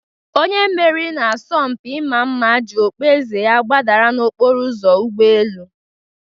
Onye meriri n'asọmpi ịma mma ji okpueze ya gbadara n'okporo ụzọ ụgbọ elu